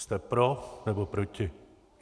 Jste pro, nebo proti?